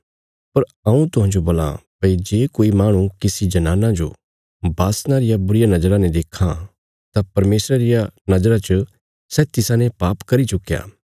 पर हऊँ तुहांजो बोलां भई जे कोई माह्णु किसी जनाना जो बासना रिया बुरी नजरा ने देक्खां तां परमेशरा रिया नजरा च सै तिसाने पाप करी चुक्कया